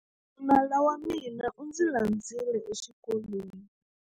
Nala wa mina u ndzi landzile exikolweni.